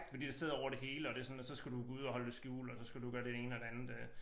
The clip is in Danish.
Fordi det sidder over det hele og det sådan og så skal du gå ud og holde det skjult og så skal du gøre det ene og det andet øh